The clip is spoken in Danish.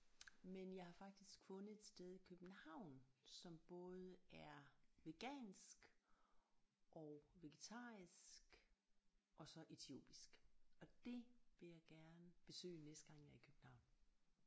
Men jeg har faktisk fundet et sted i København som både er vegansk og vegetarisk og så etiopisk og det vil jeg gerne besøge næste gang jeg er i København